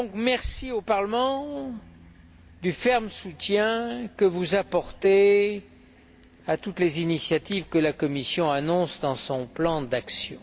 Merci au Parlement du ferme soutien qu'il apporte à toutes les initiatives que la Commission annonce dans son plan d'action.